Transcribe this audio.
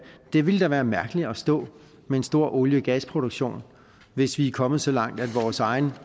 ville det da være mærkeligt at stå med en stor olie og gasproduktion hvis vi er kommet så langt at vores eget